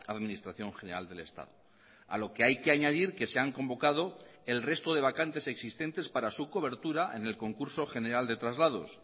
administración general del estado a lo que hay que añadir que se han convocado el resto de vacantes existentes para su cobertura en el concurso general de traslados